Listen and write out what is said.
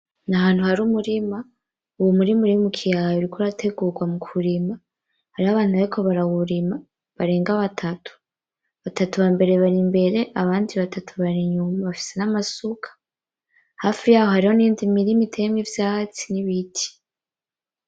N'ahantu hari umurima, uwo umurima urimwo ikiyaya uriko urategurwa mu kurima, hariho abantu bariko barawurima barenga batatu, batatu bambere bari imbere abandi batatu bari inyuma bafise n'amasuka, hafi yaho hariho niyindi mirima iteyemwo ivyatsi n'ibiti.